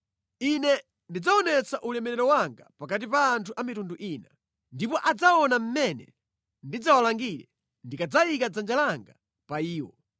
“Ine ndidzaonetsa ulemerero wanga pakati pa anthu a mitundu ina, ndipo adzaona mmene ndidzawalangire ndikadzayika dzanja langa pa iwo.